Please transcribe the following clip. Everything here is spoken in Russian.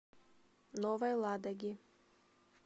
новой ладоги